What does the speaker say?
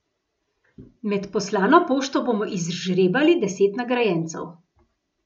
Med poslano pošto bomo izžrebali deset nagrajencev.